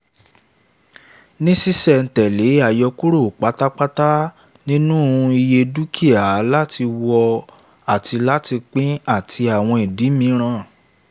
ní sísẹ̀-n-tẹ̀lè àyọkúrò pátápátá nínú iye dúkìá láti wọ̀ àti láti pín àti àwọn ìdí míràn